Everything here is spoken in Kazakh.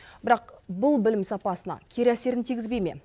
бірақ бұл білім сапасына кері әсерін тигізбей ме